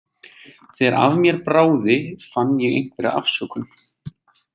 Þegar af mér bráði fann ég einhverja afsökun.